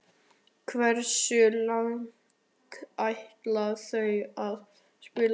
Hversu lengi ætlar þú að spila?